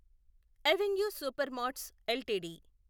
avenue Supermarts LTD